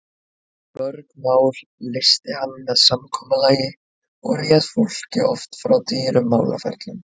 Mörg mál leysti hann með samkomulagi og réð fólki oft frá dýrum málaferlum.